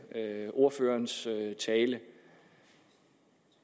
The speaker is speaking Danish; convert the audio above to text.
ordførerens tale